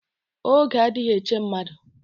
Oge adịghị eche mmadụ